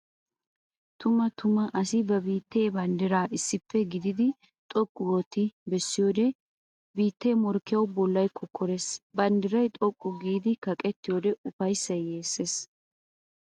Tumma tumma! Asi ba biitta banddira issippe gididdi xoqqu oottiddi bessiyoode biitte morkkiyawu bollay kokkores! Banddiray xoqqu giidi kaqqettiyodde ufayssay yeeses!